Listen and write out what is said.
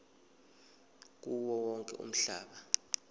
kuwo wonke umhlaba